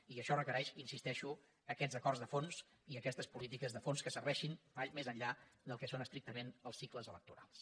i això requereix hi insisteixo aquests acords de fons i aquestes polítiques de fons que serveixin més enllà del que són estricament els cicles electorals